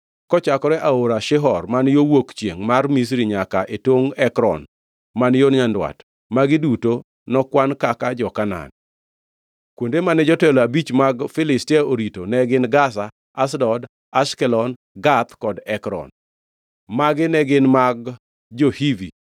kochakore e Aora Shihor man yo wuok chiengʼ mar Misri nyaka e tongʼ Ekron man yo nyandwat, magi duto nokwan kaka jo-Kanaan. Kuonde mane jotelo abich mag Filistia orito ne gin, Gaza, Ashdod, Ashkelon, Gath kod Ekron; magi ne gin mag jo-Avi